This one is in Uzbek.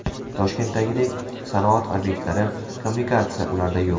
Toshkentdagidek sanoat obyektlari, kommunikatsiya ularda yo‘q.